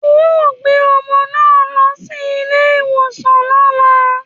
‘O óò gbé o̩mo̩ náà lo̩ sí ilé ìwòsàn ló̩la!